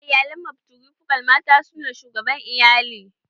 A iyalan matrifokal, mata su ne shugaban iyali